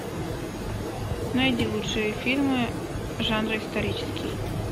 найди лучшие фильмы жанра исторический